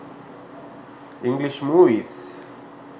english movies